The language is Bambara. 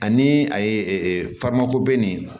Ani a ye faama ko ben